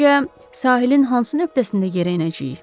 Səncə, sahilin hansı nöqtəsində yerə enəcəyik?